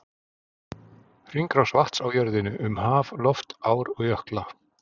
Hringrás vatns á jörðinni, um haf, loft, ár og jökla.